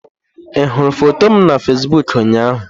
Ị hụrụ foto m na Fesiboku ụnyaahụ?